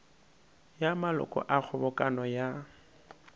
ya maloko a kgobokano ya